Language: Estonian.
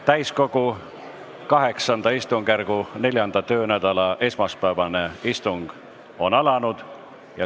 Täiskogu VIII istungjärgu 4. töönädala esmaspäevane istung on alanud.